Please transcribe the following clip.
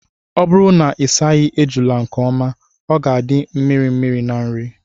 Ọ bụrụ na ịsaghị ejula nke ọma, ha ga-adị mirimiri na nri.